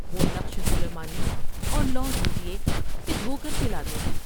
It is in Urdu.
و ہ نقش سلیمانی اور لوح دیجیے کہ دھو کر پلا د میں ۔